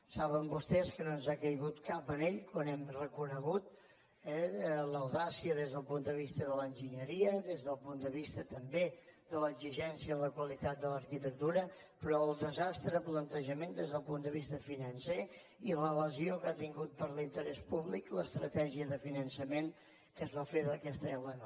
saben vostès que no ens ha caigut cap anell quan n’hem reconegut l’audàcia des del punt de vista de l’enginyeria des del punt de vista també de l’exigència en la qualitat de l’arquitectura però el desastre de plantejament des del punt de vista financer i la lesió que ha tingut per l’interès públic l’estratègia de finançament que es va fer d’aquesta l9